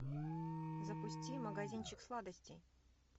запусти магазинчик сладостей